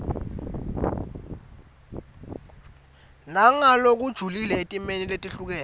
nangalokujulile etimeni letehlukene